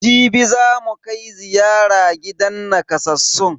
Jibi zamu kai ziyara gidan nakasassun.